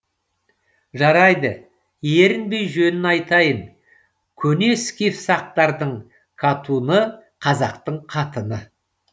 жарайды ерінбей жөнін айтайын көне скиф сақтардың катуны қазақтың қатыны